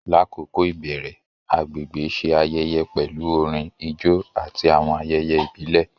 Lakoko ibẹrẹ, agbegbe ṣe ayẹyẹ pẹlu orin, ijó, ati awọn ayẹyẹ ibile.